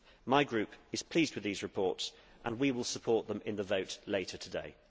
My group is pleased with these reports and we will support them in the vote later today.